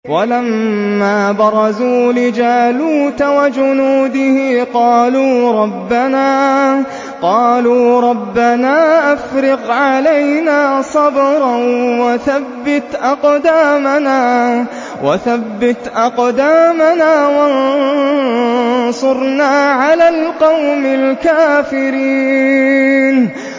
وَلَمَّا بَرَزُوا لِجَالُوتَ وَجُنُودِهِ قَالُوا رَبَّنَا أَفْرِغْ عَلَيْنَا صَبْرًا وَثَبِّتْ أَقْدَامَنَا وَانصُرْنَا عَلَى الْقَوْمِ الْكَافِرِينَ